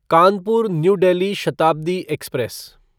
Kanpur new Delhi Shatabdi express